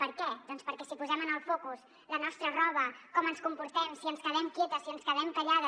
per què doncs perquè si posem en el focus la nostra roba com ens comportem si ens quedem quietes si ens quedem callades